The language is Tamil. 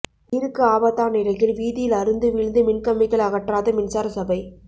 உயிருக்கு ஆபத்தான் நிலையில் வீதியில் அறுந்து வீழ்ந்து மின்கம்பிகளை அகற்றாத மின்சாரசபை